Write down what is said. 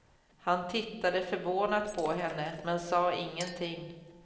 Han tittade förvånat på henne men sa ingenting.